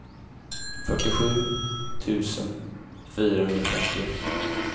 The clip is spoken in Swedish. fyrtiosju tusen fyrahundrafemtioett